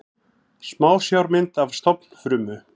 Smásjármynd af stofnfrumu.